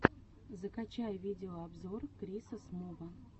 закачай видеообзор криса смува